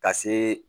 Ka see